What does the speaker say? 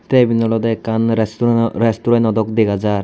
Te ebin olode ekkan restureno dog dega jar.